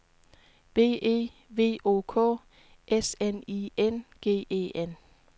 B E V O K S N I N G E N